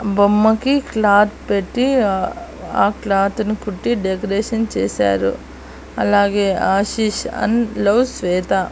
బొమ్మకి క్లాత్ పెట్టీ క్లాత్ ని కుట్టి డెకరేషన్ చేశారు అలాగే ఆశిష్ అండ్ లవ్ శ్వేత.